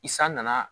I san nana